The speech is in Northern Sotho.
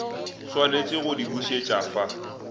swanetše go di bušet afa